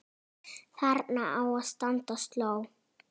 Þarna á að standa sló.